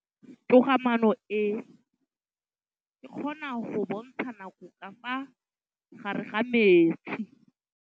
Toga-maanô e, e kgona go bontsha nakô ka fa gare ga metsi.